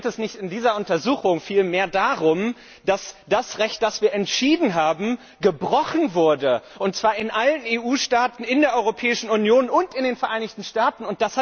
Aber geht es nicht in dieser Untersuchung viel mehr darum, dass das Recht, das wir entschieden haben, gebrochen wurde, und zwar in allen Staaten in der Europäischen Union und in den Vereinigten Staaten?